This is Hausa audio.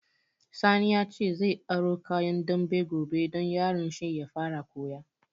Sani ya ce zai aro kayan dambe gobe don yaron shi ya fara koya